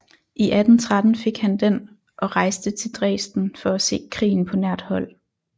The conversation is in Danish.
I 1813 fik han den og rejste til Dresden for at se krigen på nært hold